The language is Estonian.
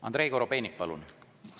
Andrei Korobeinik, palun!